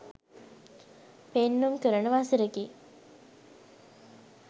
පෙන්නුම් කරන වසරකි.